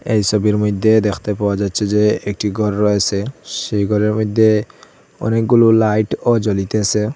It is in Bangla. এই ছবির মইদ্যে দেখতে পাওয়া যাচ্ছে যে একটি গর রয়েসে সেই গরের মইদ্যে অনেকগুলো লাইট ও জ্বলিতেসে।